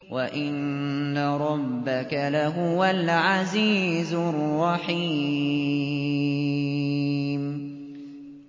وَإِنَّ رَبَّكَ لَهُوَ الْعَزِيزُ الرَّحِيمُ